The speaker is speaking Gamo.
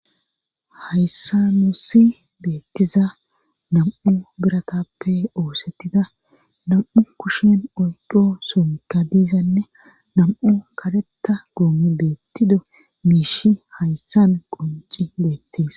hayssa nusi beettiza nam7u biratappe oosettida nam7u kushen oyqo somikka diizanne nam7u karetta goomi beettido miishi hayssan qonci beettis